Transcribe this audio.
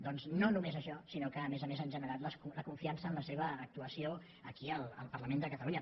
doncs no només això sinó que a més a més han generat la desconfiança en la seva actuació aquí al parlament de catalunya